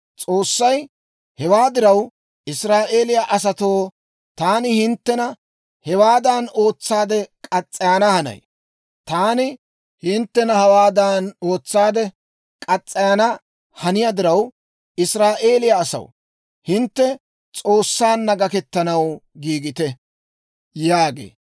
S'oossay, «Hewaa diraw, Israa'eeliyaa asatoo, taani hinttena hewaadan ootsaade murana hanay. Taani hinttena hawaadan ootsaade murana haniyaa diraw, Israa'eeliyaa asaw, hintte S'oossaanna gakkettanaw giigite» yaagee.